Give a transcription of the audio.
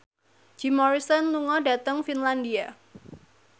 Jim Morrison lunga dhateng Finlandia